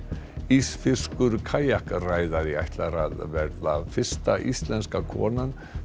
ísfirskur kajakræðari ætlar að vera fyrsta íslenska konan